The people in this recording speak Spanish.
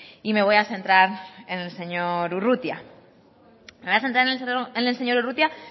y me voy a centrar en el señor urrutia me voy a centrar en el señor urrutia